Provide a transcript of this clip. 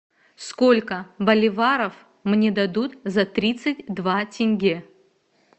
сколько боливаров мне дадут за тридцать два тенге